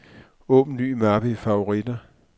Åbn ny mappe i favoritter.